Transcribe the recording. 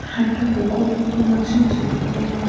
একটা পুকুর মতো আছে যেখানে --